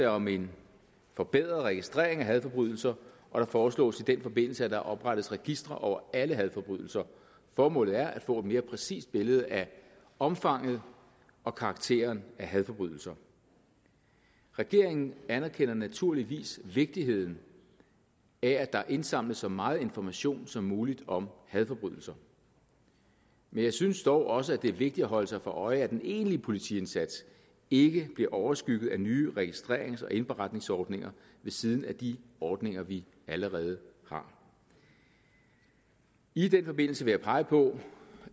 om en forbedret registrering af hadforbrydelser og der foreslås i den forbindelse at der oprettes registre over alle hadforbrydelser formålet er at få et mere præcist billede af omfanget og karakteren af hadforbrydelser regeringen anerkender naturligvis vigtigheden af at der indsamles så meget information som muligt om hadforbrydelser men jeg synes dog også at det er vigtigt at holde sig for øje at en egentlig politiindsats ikke bliver overskygget af nye registrerings og indberetningsordninger ved siden af de ordninger vi allerede har i den forbindelse vil jeg pege på